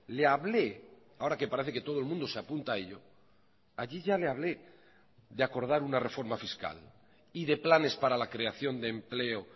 le hablé ahora que parece que todo el mundo se apunta a ello allí ya le hablé de acordar una reforma fiscal y de planes para la creación de empleo